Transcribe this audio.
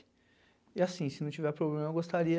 E assim, se não tiver problema, eu gostaria